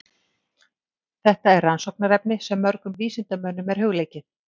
Þetta er rannsóknarefni sem mörgum vísindamönnum er hugleikið.